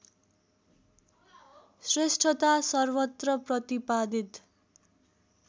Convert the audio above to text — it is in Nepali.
श्रेष्ठता सर्वत्र प्रतिपादित